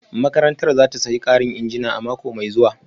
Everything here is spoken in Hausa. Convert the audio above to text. Makarantar za ta sayi karin injina a mako mai zuwa